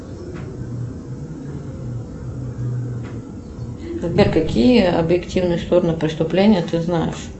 сбер какие объективные стороны преступления ты знаешь